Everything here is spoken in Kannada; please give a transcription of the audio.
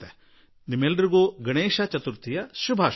ನಿಮಗೆಲ್ಲರಿಗೂ ಗಣೇಶ ಚತುರ್ಥಿಯ ಅನಂತ ಶುಭಕಾಮನೆಗಳನ್ನು ನೀಡುವೆ